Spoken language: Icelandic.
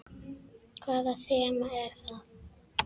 Hvaða þema er það?